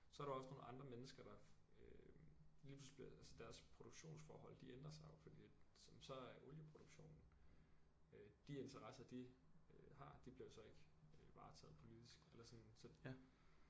Så har du også nogle andre mennesker der øh lige pludselig bliver altså deres produktionsforhold de ændrer sig jo fordi at som så er olieproduktionen øh de interesser de øh har de bliver jo så ikke øh varetaget politisk eller sådan så